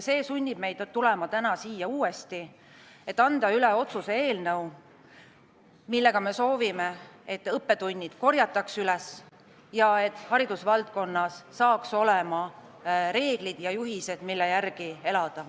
See sunnib meid tulema täna uuesti siia, et anda üle otsuse eelnõu, millega me soovime, et õppetunnid korjataks üles ning haridusvaldkonnas saaks olema reeglid ja juhised, mille järgi elada.